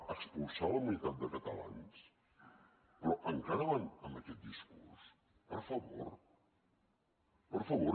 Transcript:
expulsar la meitat de catalans però encara van amb aquest discurs per favor per favor